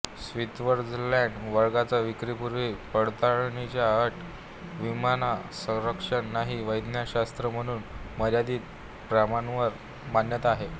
Switzerland वगळता विक्रीपूर्व पडताळणीची अट विमासंरक्षण नाही वैद्यकशास्त्र म्हणून मर्यादित प्रमाणावर मान्यता आहे